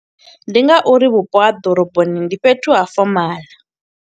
Ndi nga uri vhupo ha ḓoroboni ndi fhethu ha fomaḽa.